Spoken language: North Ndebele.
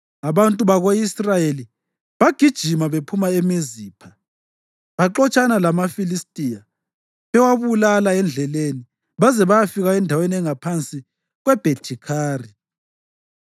Abantu bako-Israyeli bagijima bephuma eMizipha baxotshana lamaFilistiya bewabulala endleleni baze bayafika endaweni engaphansi kweBhethi-Khari.